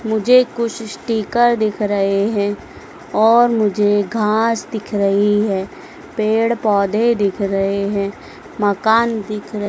मुझे कुछ स्टीकर दिख रहें हैं और मुझे घास दिख रहीं हैं पेड़ पौधे दिख रहें हैं मकान दिख र--